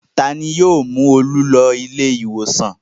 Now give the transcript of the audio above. Ta ni yóò mú Olú lọ ilé-ìwòsàn?